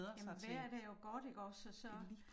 Jamen vejret er jo godt ikke også så